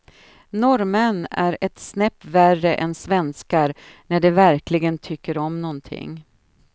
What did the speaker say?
Norrmän är ett snäpp värre än svenskar när de verkligen tycker om någonting.